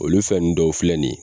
Olu fɛn nunnu dɔw filɛ nin